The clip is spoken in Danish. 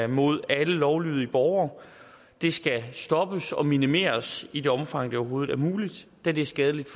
mod alle lovlydige borgere det skal stoppes og minimeres i det omfang det overhovedet er muligt da det er skadeligt